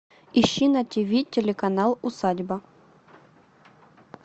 ищи на тиви телеканал усадьба